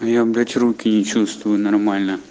я блядь руки не чувствую нормально